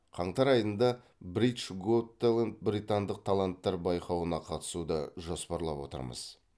қаңтар айында бритш гот тэлэнт британдық таланттар байқауына қатысуды жоспарлап отырмыз